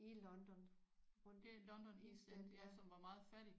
I London rundt East End ja